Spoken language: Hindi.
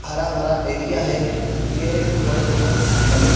हरा-भरा एरिया है। ये पेड़-पौधे लगे--